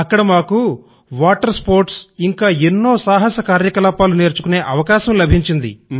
అక్కడ మాకు water sports ఇంకా ఎన్నో సాహస కార్యకలాపాలు నేర్చుకునే అవకాశం లభించింది